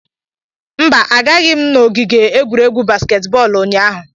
Mba, agaghị m n'ogige egwuregwu baskeet bọọlụ ụnyaahụ.